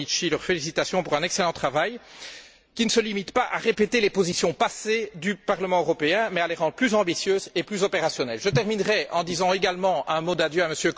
Domenici leurs félicitations pour leur excellent travail, qui ne se limite pas à répéter les positions passées du Parlement européen, mais les rend plus ambitieuses et plus opérationnelles. Je terminerai en disant également un mot d'adieu à M.